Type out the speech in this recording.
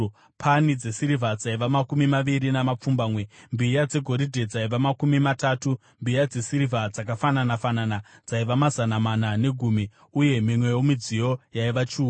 pani dzesirivha dzaiva makumi maviri namapfumbamwe; mbiya dzegoridhe dzaiva makumi matatu; mbiya dzesirivha dzakafanana-fanana dzaiva mazana mana negumi; uye mimwewo midziyo yaiva chiuru.